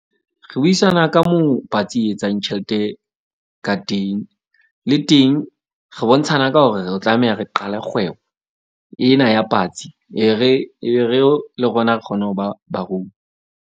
Re buisana ka moo patsi e etsang tjhelete ka teng, le teng re bontshana ka hore re tlameha re qale kgwebo ena ya patsi. E re le rona re kgone ho ba barui.